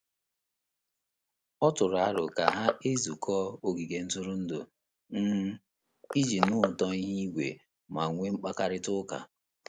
Ọ tụrụ aro ka ha-ezukọ ogige ntụrụndụ um ,iji nụ ụtọ ihu igwe ma nwe mkpakarita uka.